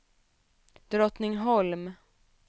Drottningholm